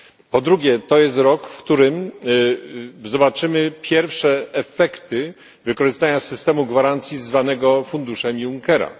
Po drugie, to jest rok, w którym zobaczymy pierwsze efekty wykorzystania systemu gwarancji zwanego funduszem Junckera.